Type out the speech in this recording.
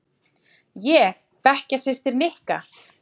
Ég bekkjarsystir Nikka.